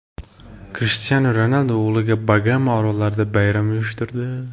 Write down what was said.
Krishtianu Ronaldu o‘g‘liga Bagama orollarida bayram uyushtirdi .